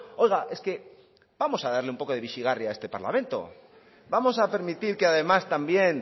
oiga es que vamos a darle un poco de bizigarri a este parlamento vamos a permitir que además también